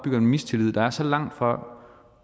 en mistillid der er så langt fra